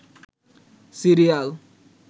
serial